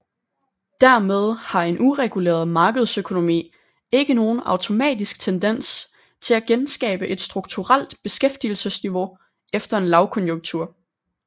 Dermed har en ureguleret markedsøkonomi ikke nogen automatisk tendens til at genskabe et strukturelt beskæftigelsesniveau efter en lavkonjunktur